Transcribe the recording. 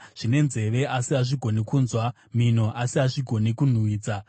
zvine nzeve, asi hazvigoni kunzwa mhino, asi hazvigoni kunhuhwidza;